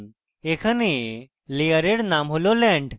এখন layer named হল land